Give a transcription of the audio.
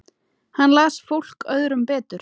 Hann las fólk öðrum betur.